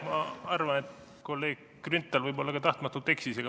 Ma arvan, et kolleeg Grünthal võib-olla ka tahtmatult eksis.